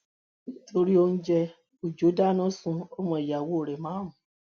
nítorí oúnjẹ ọjọ dáná sun ọmọ ìyàwó rẹ márùn